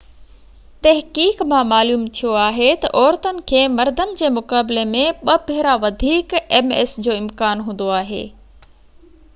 تحقيق مان معلوم ٿيو آهي تہ عورتن کي مردن جي مقابلي ۾ ٻہ ڀيرا وڌيڪ ms جو امڪان هوندو آهي